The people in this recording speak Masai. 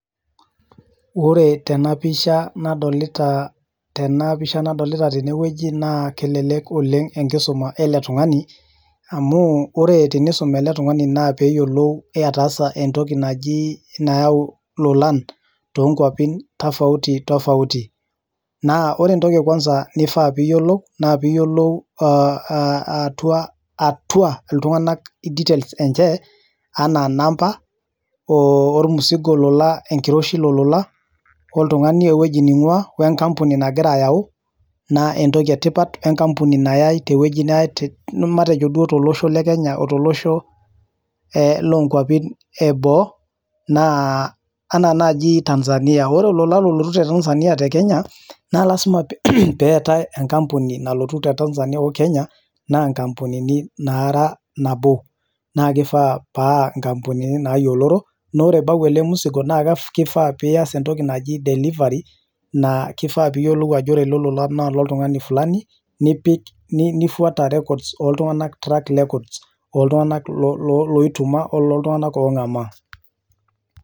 Ore tenapisha nadolita tenewueji na kelelek oleng enkisuma eletunganu amu ore pisum eletungani na kelelek entoki nayau lolan tonkwapi tofauti ore entoki niyolou naa atua ltunganak enche anaa namba, wenkiroshi ololo oltungani ewoi naingua wenkampuni nagira ayau na entoki etipat tolosho lekenya otolosho onkwapi eboo anaa nai Tanzania ore olola olotu te Tanzania na lasima peetae enkampuni nara nabo na kifaa pa nkampunini nayiioloro na ore pebau ele musigo nias entoki naji delivery na kifaa piyioou ajo ore eleeola na ololtungani oje ololtunganaak ongamaa